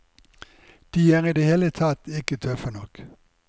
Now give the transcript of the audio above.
De er i det hele tatt ikke tøffe nok.